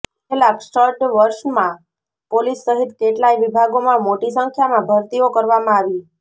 છેલ્લા ક્ષ્ડ વર્ષમાં પોલીસ સહિત કેટલાય વિભાગોમાં મોટી સંખ્યામાં ભરતીઓ કરવામાં આવી